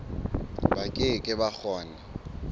ba ke ke ba kgona